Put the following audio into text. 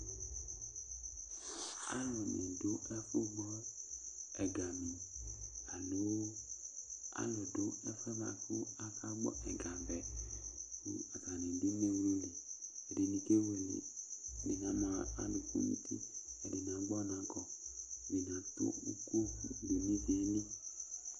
Alʋ ni dʋ ɛfʋ gbɔ ɛga ni alo alʋ dʋ ɛfʋa bua kʋ aka gbɔ ɛga vɛ kʋ atani dʋ ineɣlu li, ɛdini kewele , ɛdini ama adʋkʋ n'uti, ɛdini agbɔ ɔna kɔ, ɛdini atʋ ʋkʋ dʋ nʋ ivi yɛ li